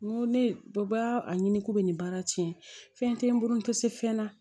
N ko ne bɛɛ b'a a ɲini k'u bɛ nin baara tiɲɛ fɛn tɛ n bolo n tɛ se fɛn na